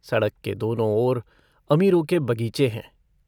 सड़क के दोनों ओर अमीरों के बगीचे हैं।